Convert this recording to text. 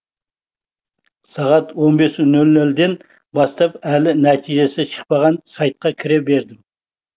сағат он бес нөл нөлден бастап әлі нәтижесі шықпаған сайтқа кіре бердім